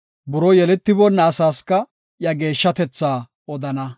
Buroo yeletiboona asaska, iya geeshshatetha odana.